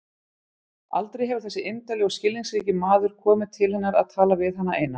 Aldrei hefur þessi indæli og skilningsríki maður komið til hennar að tala við hana eina.